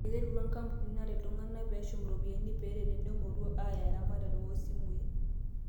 Eiterutwa ikapunini naret iltung'ana peeshum iropiyian peeret tenemoruau aaya eramatare oo simui.